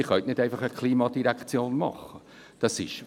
Sie können nicht einfach eine Klimadirektion schaffen.